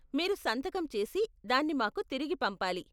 మీరు సంతకం చేసి దాన్ని మాకు తిరిగి పంపాలి .